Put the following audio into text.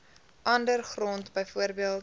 ander grond bv